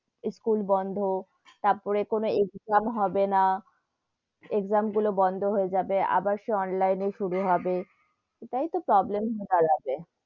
School বন্ধ, তার পরে কোনো exam হবে না, exam গুলো বন্ধ হয়ে যাবে আবার সেই online শুরু হবে, এতে তো problem হয়ে দাঁড়াবে,